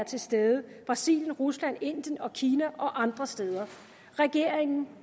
til stede brasilien rusland indien kina og andre steder regeringen